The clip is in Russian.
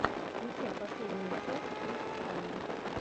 включай последнюю часть итс фанне